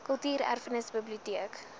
kultuur erfenis biblioteek